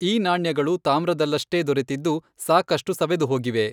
ಈ ನಾಣ್ಯಗಳು ತಾಮ್ರದಲ್ಲಷ್ಟೇ ದೊರೆತಿದ್ದು, ಸಾಕಷ್ಟು ಸವೆದುಹೋಗಿವೆ.